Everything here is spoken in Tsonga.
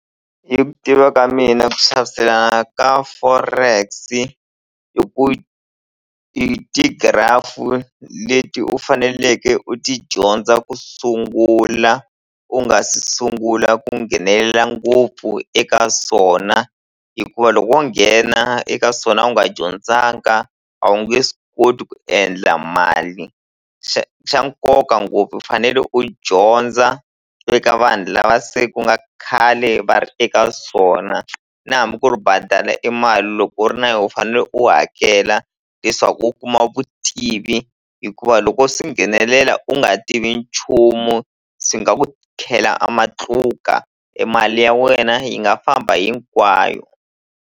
Hi ku tiva ka mina ku xaviselana ka forex i ku ti-graphic u leti u faneleke u ti dyondza ku sungula u nga se sungula ku nghenelela ngopfu eka swona hikuva loko wo nghena eka swona u nga dyondzanga a wu nge swi koti ku endla mali xa xa nkoka ngopfu u fanele u dyondza eka vanhu lava se ku nga khale va ri eka swona na hambi ku ri badala e mali loko u ri na yo u fanele u hakela leswaku u kuma vutivi hikuva loko wo swi nghenelela u nga tivi nchumu swi nga ku khela a matluka e mali ya wena yi nga famba hinkwayo.